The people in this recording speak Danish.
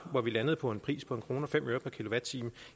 hvor vi landede på en pris på en kroner og fem øre per kilowatt time